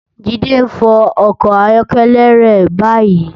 Jide n fò òkò áyòkèlè rè bàyí